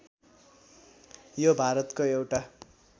यो भारतको एउटा